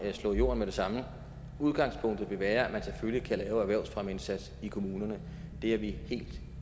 slå i jorden med det samme udgangspunktet vil være at man selvfølgelig kan lave erhvervsfremmeindsatser i kommunerne det er vi helt